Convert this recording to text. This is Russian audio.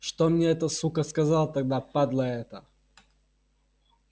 что мне эта сука сказал тогда падла эта